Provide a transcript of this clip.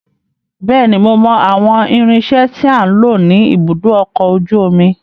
Bẹ́ẹ̀ni, mo mọ àwọn irinsẹ́ tí à ń lò ní ibùdó ọkọ̀ ojú omi.